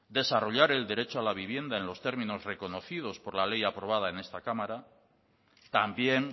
desarrollar el derecho a la vivienda en los términos reconocidos por la ley aprobada en esta cámara también